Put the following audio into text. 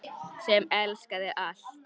Sem elskaði allt.